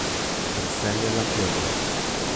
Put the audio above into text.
Drsenje nad tlemi.